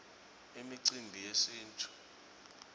imicimbi yesintfu